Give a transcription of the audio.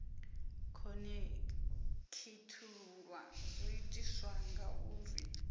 khonekhithululwa zwo itiswa nga uri